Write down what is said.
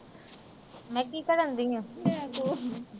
ਮੈਂ ਕੀ ਕਰਨ ਡਈ ਆ।